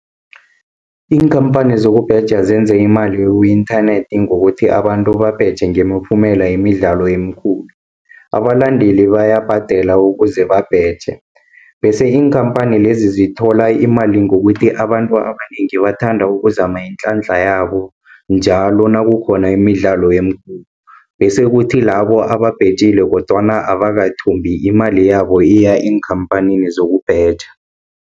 Iinkhamphani zokubheja zenza imali ku-inthanethi, ngokuthi abantu babheje ngemiphumela yemidlalo emikhulu. Abalandeli bayabhadela ukuze babheje, bese iinkhampani lezi zithola imali ngokuthi, abantu abanengi bathanda ukuzama iinhlanhla yabo njalo nakukhona imidlalo emikhulu. Bese kuthi labo ababhejile kodwana abakathumbi, imali yabo iya eenkhamphanini zokubheja.